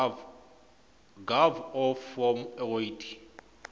gov off form coid